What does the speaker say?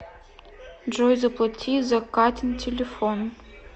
джой заплати за катин телефон